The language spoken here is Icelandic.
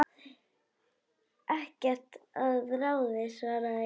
Ekkert að ráði svaraði ég.